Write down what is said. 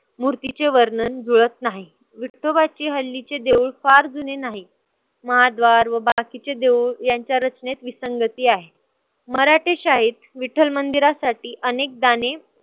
मूर्तीचे वर्णन जुळत नाही. विठोबाची हल्लीचे देऊळ फार जूने नाही. महाद्वार व बाकीचे देऊळ यांच्या रचनेत विसंगती आहे. मराठी शाळेत विठ्ठल मंदिरासाठी अनेक दाने